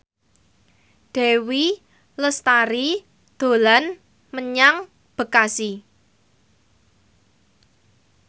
Dewi Lestari dolan menyang Bekasi